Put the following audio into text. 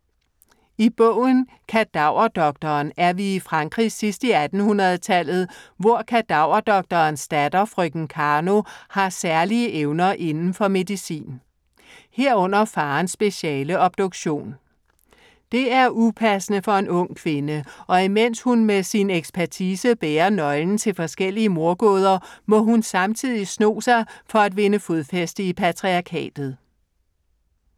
I bogen Kadaverdoktoren er vi i Frankrig sidst i 1800-tallet, hvor kadaverdoktorens datter, frøken Karno, har særlige evner inden for medicin. Herunder faderens speciale, obduktion. Det er upassende for en ung kvinde og imens hun med sin ekspertise bærer nøglen til forskellige mordgåder, må hun samtidig sno sig for at vinde fodfæste i patriarkatet.